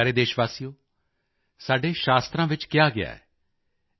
ਮੇਰੇ ਪਿਆਰੇ ਦੇਸ਼ਵਾਸੀਓ ਸਾਡੇ ਸ਼ਾਸਤਰਾਂ ਵਿੱਚ ਕਿਹਾ ਗਿਆ ਹੈ